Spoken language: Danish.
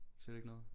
Siger det ikke noget?